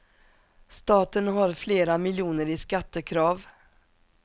Staten har flera miljoner i skattekrav.